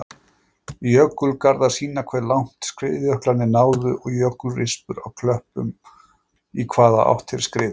Jökulgarðar sýna hve langt skriðjöklarnir náðu og jökulrispur á klöppum í hvaða átt þeir skriðu.